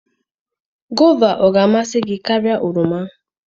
Goova ọ ga-amasị gị karịa oroma?